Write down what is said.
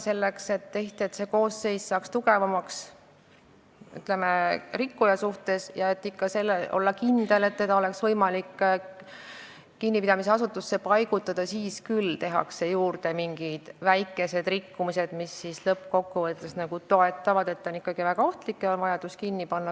Selleks, et kuriteokoosseis saaks tugevamaks rikkuja suhtes, et ikka saaks olla kindel, et teda on võimalik kinnipidamisasutusse paigutada, tekitatakse küll juurde mingeid väikseid rikkumisi, mis lõppkokkuvõttes toetavad seda mõtet, et tegemist on ikkagi väga ohtliku inimesega ja on vaja ta kinnipidamisasutusse panna.